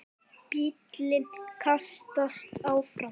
Bíllinn kastast áfram.